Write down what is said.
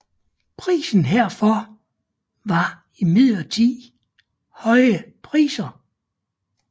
Prisen herfor var imidlertid høje priser